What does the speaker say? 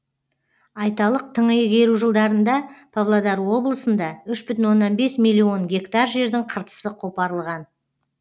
айталық тың игеру жылдарында павлодар облысында үш бүтін оннан бес миллион гектар жердің қыртысы қопарылған